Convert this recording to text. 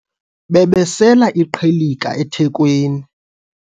babesela iqhilika ethekweni